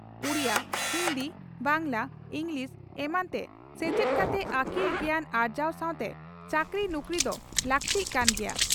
Odia, Hindi, Bangla, English ᱮᱢᱟᱱᱛᱮ ᱥᱮᱪᱮᱫ ᱠᱟᱛᱮ ᱟᱹᱠᱤᱞ ᱜᱮᱭᱟᱱ ᱟᱨᱡᱟᱣ ᱥᱟᱣᱛᱮ ᱪᱟᱹᱠᱨᱤ ᱱᱩᱠᱨᱤ ᱫᱚ ᱞᱟᱹᱠᱛᱤᱜ ᱠᱟᱱ ᱜᱮᱭᱟ ᱾